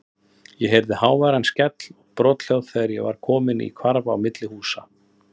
Ég heyrði háværan skell og brothljóð þegar ég var kominn í hvarf á milli húsa.